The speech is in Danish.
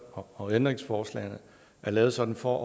og ændringsforslagene er lavet sådan for